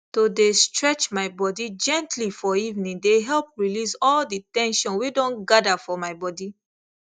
to dey stretch my body gently for evening dey help release all the ten sion wey don gather for my body